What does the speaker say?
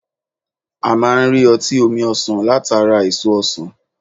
A máa n rí ọtí omi ọsàn látara èso ọsàn